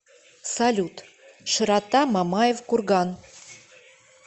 салют широта мамаев курган